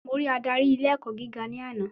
Mo rí Ádárì ilé ẹ̀kọ́ gíga ní àná.